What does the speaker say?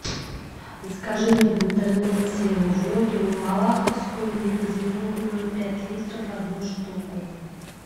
закажи мне в интернете воду малаховскую негазированную пять литров одну штуку